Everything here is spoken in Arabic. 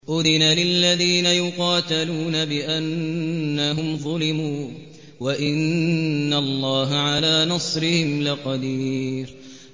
أُذِنَ لِلَّذِينَ يُقَاتَلُونَ بِأَنَّهُمْ ظُلِمُوا ۚ وَإِنَّ اللَّهَ عَلَىٰ نَصْرِهِمْ لَقَدِيرٌ